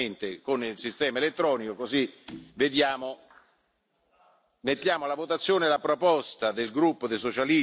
Quindi, io siccome la votazione è abbastanza delicata direi di farla direttamente con il sistema elettronico, così vediamo.